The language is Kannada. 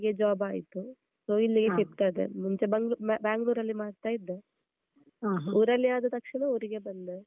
Job ಆಯ್ತು so ಇಲ್ಲಿಗೆ shift ಆದೆ ಮುಂಚೆ ಬಾ Bangalore ಅಲ್ಲಿ ಮಾಡ್ತಾ ಇದ್ದೆ. ಊರಲ್ಲಿ ಆದ ತಕ್ಷಣ ಊರಿಗೆ ಬಂದೆ.